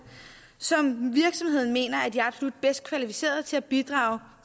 som virksomheden mener er de absolut bedst kvalificerede til at bidrage